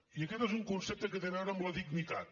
i aquest és un concepte que té a veure amb la dignitat